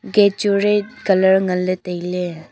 gate chu red colour ngan ley tailey.